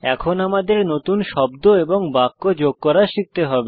এখন আমাদের নতুন শব্দ এবং বাক্য যোগ করা শিখতে হবে